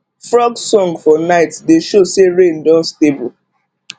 frog song for night dey show say rain don stable